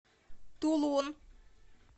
тулун